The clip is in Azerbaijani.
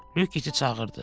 Lük iti çağırdı.